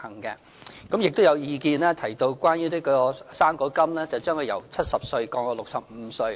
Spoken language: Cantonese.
此外，有意見提到將"生果金"由70歲降至65歲。